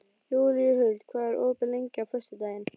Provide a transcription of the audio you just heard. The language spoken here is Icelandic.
Júlíhuld, hvað er opið lengi á föstudaginn?